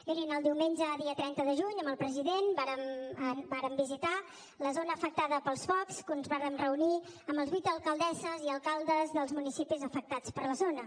mirin el diumenge dia trenta de juny amb el president vàrem visitar la zona afectada pels focs i ens vàrem reunir amb les vuit alcaldesses i alcaldes dels municipis afectats de la zona